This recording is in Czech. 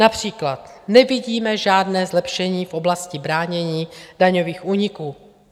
Například nevidíme žádné zlepšení v oblasti bránění daňových úniků.